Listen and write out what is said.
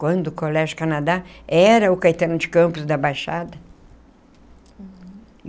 Quando o Colégio Canadá era o Caetano de Campos da Baixada.